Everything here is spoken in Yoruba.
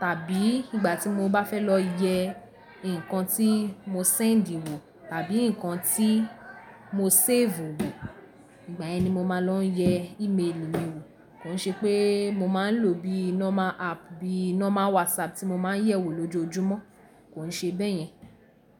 tàbí ìgbà tí mo bá fẹ́ lọ yẹ ǹkan tí mo sẹ́ẹ̀ndì wọ̀ tàbí ǹkan tí mo séèfù wo. Ìgbà yẹn ni mo máa lọ ń yẹ ímeèlì mi wò. Kò ń ṣe pé mo máa ń lò bíi nọmà app, bíi nọ́mà WhatsApp tí mo máa ń yẹ̀ wò lójoojúmọ́. Kò ń ṣe bẹ́ẹ̀ yẹn.